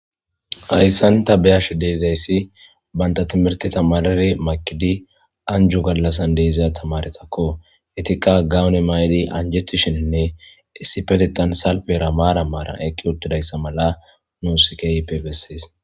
Hayssan ta beyashe de'ayssii bantta timihirte tamaaridi makiddi anjjo gaallassan de'iza tmaaretakko ettikka gawonne mtidi ajjetishininne issipetetan maran marn eqii uttidaysa mala nus keehippe besses